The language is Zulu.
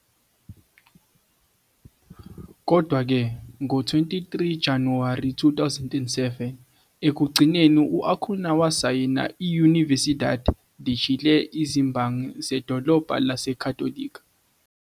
Kodwa-ke, ngo-23 Januwari 2007, ekugcineni u-Acuña wasayina i- Universidad de Chile, izimbangi zedolobha laseCatólica.